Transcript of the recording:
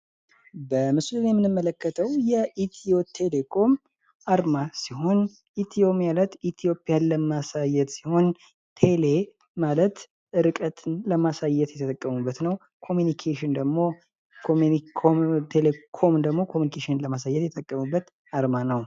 በምስሉ ላይ የምንመለከተው የኢትዮቴሌኮም አርማ ሲሆን ኢትዮ ማለት ኢትዮጵያን ለማሳዬት ሲሆን ቴሌ ርቀትን ለማሳየት የተጠቀሙበት ነው። ኮም ደግሞ ኮሚኒዩኬሽንን ለማሳየት የተጠቀሙበት አርማ ነው።